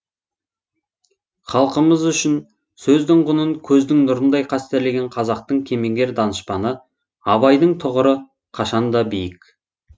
халқымыз үшін сөздің құнын көздің нұрындай қастерлеген қазақтың кемеңгер данышпаны абайдың тұғыры қашанда биік